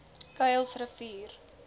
kuilsrivier